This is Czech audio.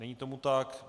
Není tomu tak.